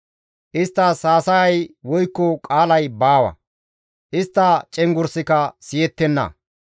Isttas haasayay woykko qaalay baawa; istta cenggurssikka siyettenna.